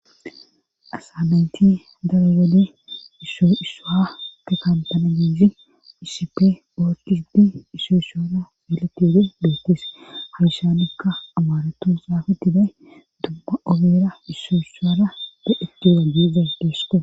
asanaynti daragale isshoo issoha te kantana gihi iisippe oorkisdi issoo ishoora belatioode beettees hashanikka amaaretu saafettiday dubba obera issoo ishoora da7eteza diiza geeshte